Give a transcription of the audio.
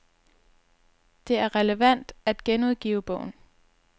Det er relevant at genudgive bogen.